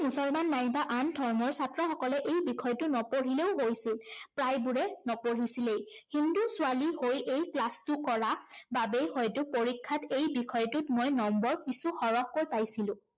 মুছলমান নাইবা আন ধৰ্মৰ ছাত্ৰসকলে এই বিষয়টো নপঢ়িলেও হৈছিল। প্ৰায়বোৰে নপঢ়িছিলেই। হিন্দু ছোৱালী হৈ এই class টো কৰা বাবেই হয়তো পৰীক্ষাত এই বিষয়টোত মই number কিছু সৰহকৈ পাইছিলো।